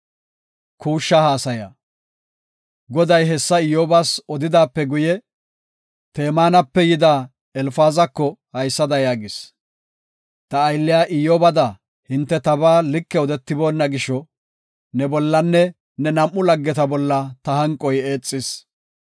Goday hessa Iyyobas odidaape guye, Temaanape yida Elfaazako haysada yaagis. “Ta aylliya Iyyobada hinte tabaa like odetiboonna gisho, ne bollanne ne nam7u laggeta bolla ta hanqoy eexis.